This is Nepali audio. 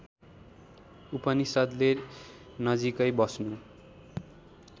उपनिषद्ले नजिकै बस्नु